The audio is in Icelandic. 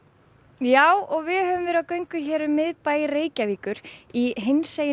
já við höfum verið á gangi hér um miðbæ Reykjavíkur í hinsegin